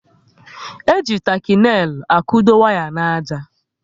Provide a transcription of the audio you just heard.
E ji taki neil akudo waya n'àjà